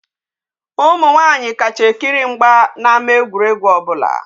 Umu nwaanyi kacha ekiri mgbe n'ama egwuregwu obula.